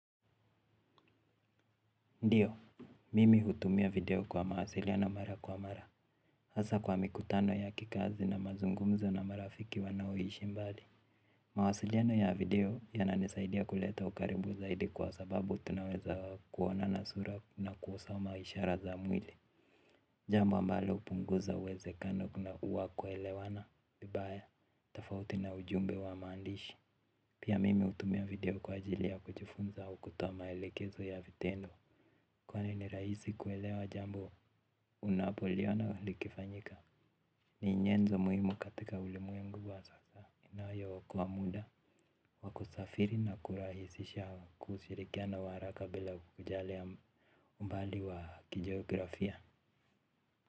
Ndiyo, mimi hutumia video kwa mahasiliano mara kwa mara. Hasa kwa mikutano ya kikazi na mazungumzo na marafiki wanaoishi mbali. Mawasiliano ya video yananisaidia kuleta ukaribu zaidi kwa sababu tunaweza kuona na sura na kuosoma ishara za mwili. Jambo ambalo upunguza uwezekano kuna uwa kuelewana, vibaya, tofauti na ujumbe wa maandishi. Pia mimi hutumia video kwa ajili ya kujifunza au kutowa maelekezo ya vitendo. Kwani ni rahisi kuelewa jambo unapoliona likifanyika. Ni nyenzo muhimu katika ulimwengu wa sasa. Inayo okoa muda wa kusafiri na kurahisisha kushirikiana wa haraka bila kujalia umbali wa kijiografia.